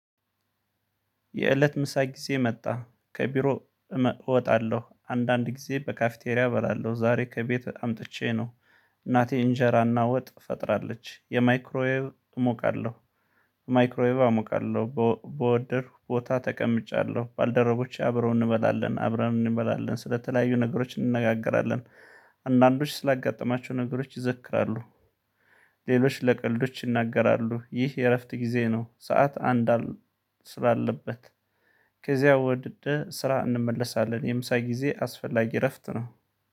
የእለት ምሳ ጊዜ መጣ ከቢሮ እወጣለሁ አንዳንድ ጊዜ በካፍቴሪያ እበላለሁ ዛሬ ከቤት አምጥቼ ነው። እናቴ እንጀራና ወጥ ፈጥራለች የማይክሮዬ እሞቃለሁ። ማይክሮዬ እሞቃለሁ በወደድኩ ቦታ ተቀምጫለሁ ባልደረቦቼ አብረው እንበላለን አብረን እንበላለን ስለተለያዩ ነገሮች እንነጋገራለን። አንዳንዶች ስላጋጠማቸው ነገሮች ይዘክራሉ። ሌሎች ለቀልዶች ይናገራሉ ይህ የእረፍት ጊዜ ነው። ሰዓት አንድ ስላለበት ከዚያ ወደስራ እንመለሳለን። የምሳይ ጊዜ አስፈላጊ እረፍት ነው